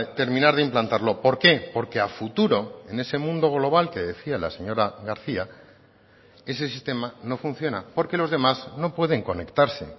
terminar de implantarlo por qué porque a futuro en ese mundo global que decía la señora garcía ese sistema no funciona porque los demás no pueden conectarse